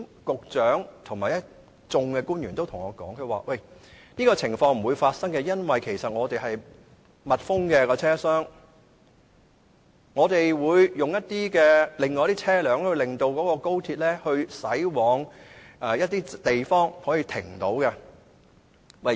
局長和一眾官員曾經對我說，這種情況不會發生，因為車廂是密封的，他們會安排車輛令高鐵駛往其他可以停泊的地方。